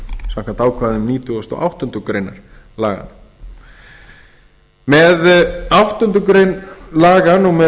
samkvæmt ákvæðum nítugasta og áttundu grein laganna með áttundu grein laga númer